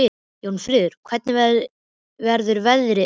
Jónfríður, hvernig verður veðrið á morgun?